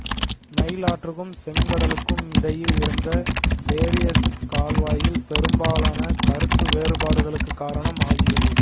Nile ஆற்றுக்கும் செங்கடலுக்கும் இடையில் இருந்த டேரியசுக் கால்வாய் பெரும்பாலான கருத்து வேறுபாடுகளுக்குக் காரணம் ஆகியது